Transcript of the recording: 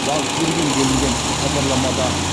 бағып берген делінген хабарламада